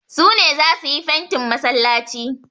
Su ne za su yi fentin masallaci.